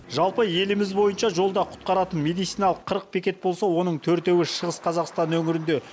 жалпы еліміз бойынша жолда құтқаратын медициналық қырық бекет болса оның төртеуі шығыс қазақстан өңірінде